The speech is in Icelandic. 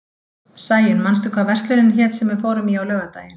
Sæunn, manstu hvað verslunin hét sem við fórum í á laugardaginn?